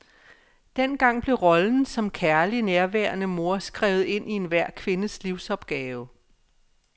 Dengang blev rollen som kærlig, nærværende mor skrevet ind i enhver kvindes livsopgave.